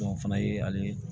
o fana ye hali